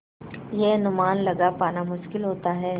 यह अनुमान लगा पाना मुश्किल होता है